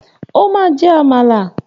O máa jẹ Àmàlà!